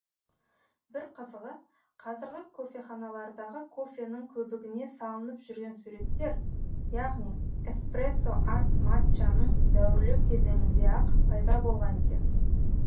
бір қызығы қазіргі кофеханалардағы кофенің көбігіне салынып жүрген суреттер яғни эспрессо арт матчаның дәуірлеу кезеңінде ақ пайда болған екен